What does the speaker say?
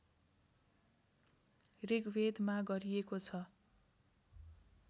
ऋग्वेदमा गरिएको छ